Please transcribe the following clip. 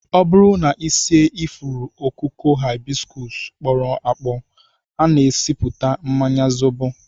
Ọ bụrụ na e sie ifuru okooko Hibiscus kpọrọ akpọ, a na-esipụta mmanya zobo